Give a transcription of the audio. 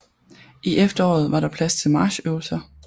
I efteråret var der plads til marchøvelser